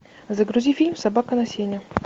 загрузи фильм собака на сене